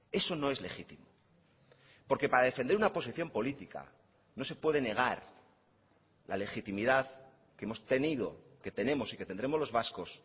eso no es legítimo porque para defender una posición política no se puede negar la legitimidad que hemos tenido que tenemos y que tendremos los vascos